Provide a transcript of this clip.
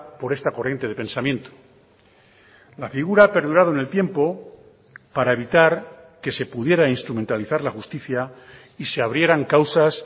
por esta corriente de pensamiento la figura ha perdurado en el tiempo para evitar que se pudiera instrumentalizar la justicia y se abrieran causas